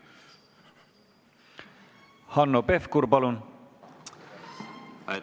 Hanno Pevkur, palun!